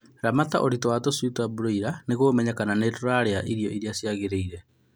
Ramata ũritũ wa tũshui twa broila nĩguo ũmenye kana nĩirarĩa ũrĩa kwagĩrĩle